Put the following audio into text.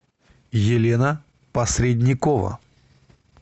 елена посредникова